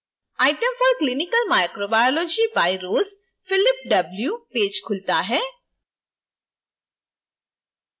items for clinical microbiology by ross philip w page खुलता है